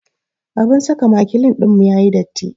Abun saka makilin ɗinmu ya yi datti.